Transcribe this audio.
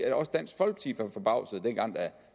også dansk folkeparti var forbavsede dengang